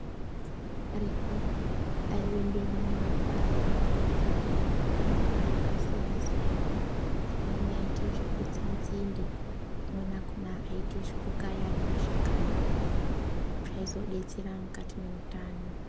...ekaretu aiende mumagwasha kotsvake mitonga yakasiyana-siyana. Amweni aiite zvekutsa nzinde , amweni akhona aiite zvekukaya ari mashakani, zvaizodetsera mukati neutano.